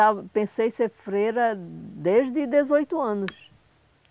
Não, eu pensei em ser freira desde os dezoito anos.